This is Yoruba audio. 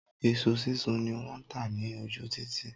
Iṣu sísun ni wọ́n tà ní ojú títì.